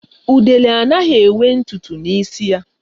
Udele anaghị enwe ntụ ntụ na isi ya